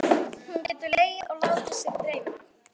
Hún getur legið og látið sig dreyma.